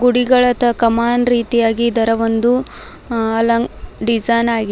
ಗುಡಿಗಳದ್ದ ಕಮಾನ್ ರೀತಿಯಾಗಿ ಇದರ ಒಂದು ಅಲಂಕ ಡಿಸೈನ್ ಆಗಿದೆ.